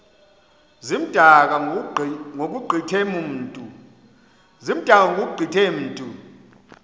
zimdaka ngokugqithe mntu